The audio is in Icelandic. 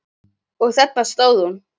Og þarna stóð hún.